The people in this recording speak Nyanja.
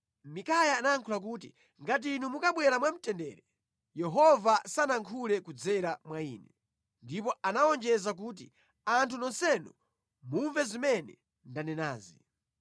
Mikaya anayankhula kuti, “Ngati inu mukabwera mwamtendere, Yehova sanayankhule kudzera mwa ine.” Ndipo anawonjeza kuti, “Anthu nonsenu, mumve zimene ndanenazi.”